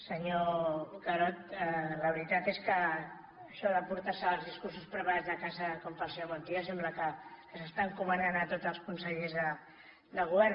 senyor carod la veritat és que això de portar els discursos preparats de casa com fa el senyor montilla sembla que s’està encomanant a tots els consellers del govern